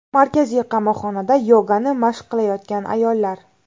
Markaziy qamoqxonada yogani mashq qilayotgan ayollar.